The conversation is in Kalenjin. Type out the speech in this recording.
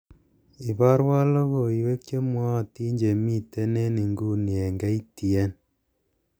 iborwon logoiwek chemwootin chemiten en inguni en k.t.n